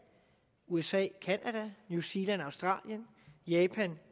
usa canada new zealand australien japan